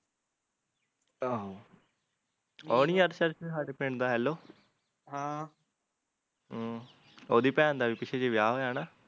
ਆਹੋ ਉਹ ਨੀ ਜਤਸਰ ਸਾਡੇ ਪਿੰਡ ਦਾ ਹੇਲੋ ਹਮ ਓਹਦੀ ਭੈਣ ਦਾ ਵੀ ਪਿੱਛੇ ਜਹੇ ਵਿਆਹ ਹੋਇਆ ਨਾ